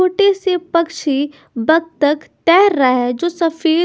छोटे से पक्षी बत्तख तैर रहा है जो सफेद--